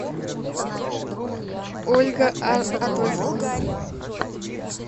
ольга адольфовна